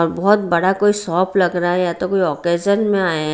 और बहुत बड़ा कोई शॉप लग रहा है या तो कोई ओकेजन मे आये है।